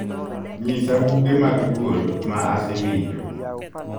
nyisa buge mag duol ma asewinjo